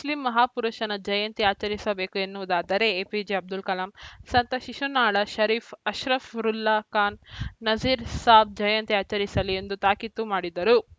Muslim ಮಹಾಪುರುಷನ ಜಯಂತಿ ಆಚರಿಸಬೇಕು ಎನ್ನುವದಾದರೆ ಎಪಿಜೆ ಅಬ್ದುಲ್‌ ಕಲಾಂ ಸಂತ ಶಿಶುನಾಳ ಷರೀಫ ಅಶ್ರಫ್ ರುಲ್ಲಾ ಖಾನ್‌ ನಜೀರ್‌ ಸಾಬ್‌ ಜಯಂತಿ ಆಚರಿಸಲಿ ಎಂದು ತಾಕೀತು ಮಾಡಿದರು